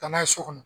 Taa n'a ye so kɔnɔ